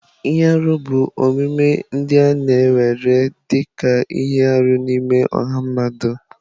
Ihe arụ bụ omume ndị a na-ewere dị ka ihe arụ n'ime ọha mmadụ.